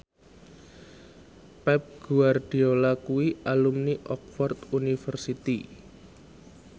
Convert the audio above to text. Pep Guardiola kuwi alumni Oxford university